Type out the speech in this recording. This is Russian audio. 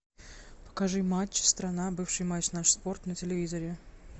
покажи матч страна бывший матч наш спорт на телевизоре